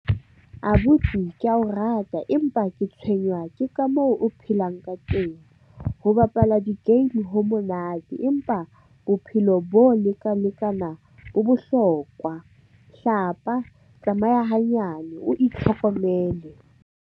Abuti ke a o rata empa ke tshwenywa ke ka moo o phelang ka teng. Ho bapala di-game ho monate empa bophelo bo bo bohlokwa hlapa, tsamaya hanyane, o itlhokomele.